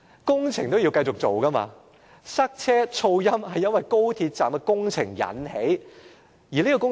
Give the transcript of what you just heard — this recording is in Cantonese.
工程是要繼續進行的，而塞車和噪音是由於高鐵站工程所引起。